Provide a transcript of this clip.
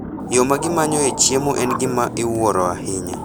Yo ma gimanyoe chiemo en gima iwuoro ahinya.